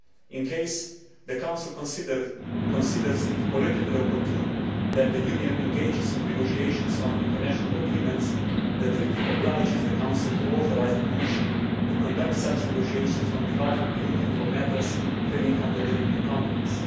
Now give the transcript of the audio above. In case the Council considers it politically opportune that the Union engages in negotiations on international agreements, the treaty obliges the Council to authorise the Commission to conduct such negotiations on behalf of the Union for matters falling under Union competence.